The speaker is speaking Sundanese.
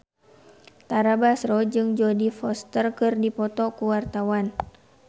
Tara Basro jeung Jodie Foster keur dipoto ku wartawan